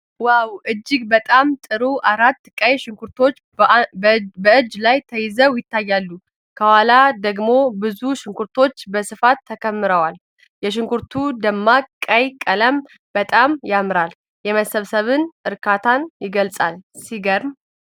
ዋው፣ እጅግ በጣም ጥሩ! አራት ቀይ ሽንኩርቶች በእጅ ላይ ተይዘው ይታያሉ፤ ከኋላ ደግሞ ብዙ ሽንኩርቶች በስፋት ተከምረዋል። የሽንኩርቱ ደማቅ ቀይ ቀለም በጣም ያምራል፤ የመሰብሰብን እርካታ ይገልጻል። ሲገርም!